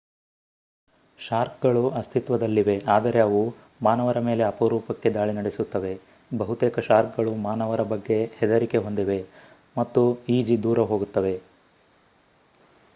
ಶಾರ್ಕ್‌ಗಳು ಅಸ್ತಿತ್ವದಲ್ಲಿವೆ ಆದರೆ ಅವು ಮಾನವರ ಮೇಲೆ ಅಪರೂಪಕ್ಕೆ ದಾಳಿ ನಡೆಸುತ್ತವೆ. ಬಹುತೇಕ ಶಾರ್ಕ್‌ಗಳು ಮಾನವರ ಬಗ್ಗೆ ಹೆದರಿಕೆ ಹೊಂದಿವೆ ಮತ್ತು ಈಜಿ ದೂರ ಹೋಗುತ್ತವೆ